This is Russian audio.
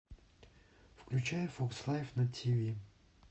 включай фокс лайф на тиви